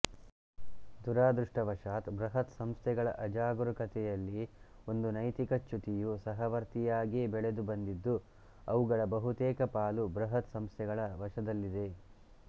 ದುರದೃಷ್ಟವಶಾತ್ ಬೃಹತ್ ಸಂಸ್ಥೆಗಳ ಅಜಾಗೂರಕತೆಯಲ್ಲಿ ಒಂದು ನೈತಿಕ ಚ್ಯುತಿಯು ಸಹವರ್ತಿಯಾಗೇ ಬೆಳೆದುಬಂದಿದ್ದು ಅವುಗಳ ಬಹುತೇಕ ಪಾಲು ಬೃಹತ್ ಸಂಸ್ಥೆಗಳ ವಶದಲ್ಲಿದೆ